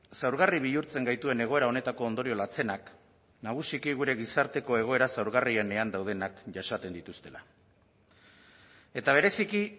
zaurgarri bihurtzen gaituen egoera honetako ondorio latzenak nagusiki gure gizarteko egoera zaurgarrienean daudenak jasaten dituztela eta bereziki